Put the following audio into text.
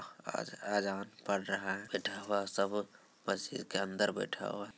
आज अज़ान पड़ रहा है बैठा हुआ है सब मस्जिद के अंदर बैठा हुआ है |